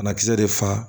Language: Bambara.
Banakisɛ de fa